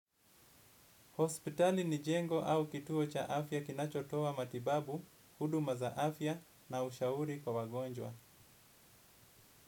Hospitali ni jengo au kituo cha afya kinachotowa matibabu, huduma za afya na ushauri kwa wagonjwa.